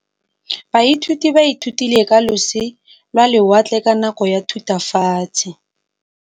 Baithuti ba ithutile ka losi lwa lewatle ka nako ya Thutafatshe.